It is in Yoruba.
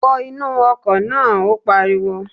Wọ inú ọkọ̀ náà! Ó pariwo.